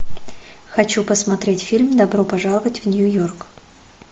хочу посмотреть фильм добро пожаловать в нью йорк